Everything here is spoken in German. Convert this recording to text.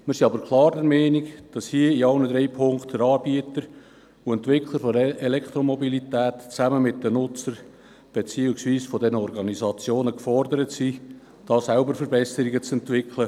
Wir sind aber klar der Meinung, dass bei allen drei Ziffern die Anbieter und Entwickler der Elektromobilität zusammen mit den Nutzern beziehungsweise den Organisationen gefordert sind, selbst Verbesserungen zu entwickeln.